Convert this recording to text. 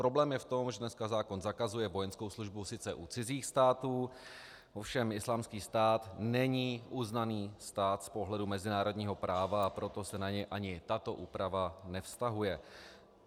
Problém je v tom, že dneska zákon zakazuje vojenskou službu sice u cizích států, ovšem Islámský stát není uznaný stát z pohledu mezinárodního práva, a proto se na něj ani tato úprava nevztahuje.